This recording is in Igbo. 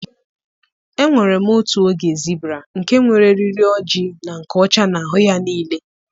Enwere m otu oge zibra nke nwere eriri ojii na nke ọcha n'ahụ ya niile.